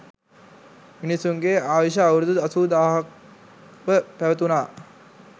මිනිසුන්ගේ ආයුෂ අවුරුදු අසූ දාහක්ව පැවතුණා.